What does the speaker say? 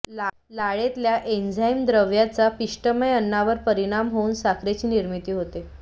लाळेतल्या enzyme द्रव्यांचा पिष्टमय अन्नावर परिणाम होऊन साखरेची निर्मिती होते